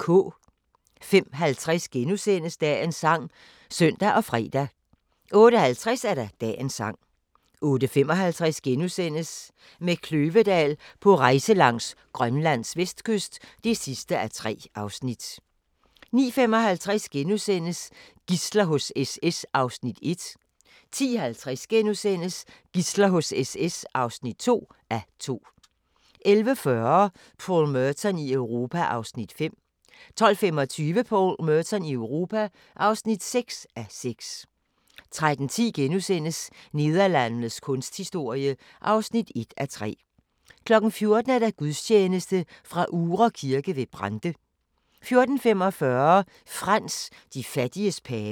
05:50: Dagens sang *(søn og fre) 08:50: Dagens sang 08:55: Med Kløvedal på rejse langs Grønlands vestkyst (3:3)* 09:55: Gidsler hos SS (1:2)* 10:50: Gidsler hos SS (2:2)* 11:40: Paul Merton i Europa (5:6) 12:25: Paul Merton i Europa (6:6) 13:10: Nederlandenes kunsthistorie (1:3)* 14:00: Gudstjeneste fra Uhre Kirke ved Brande 14:45: Frans: De fattiges pave